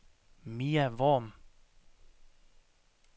Mia Worm